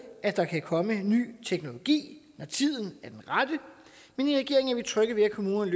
at der kan komme en ny teknologi når tiden er den rette men i regeringen er vi trygge ved at kommunerne